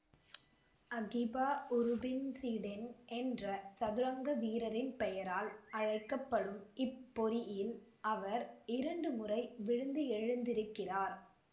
Akiba Rubinstein என்ற சதுரங்க வீரரின் பெயரால் அழைக்க படும் இப்பொறியில் அவர் இரண்டு முறை விழுந்து எழுந்திருக்கிறார்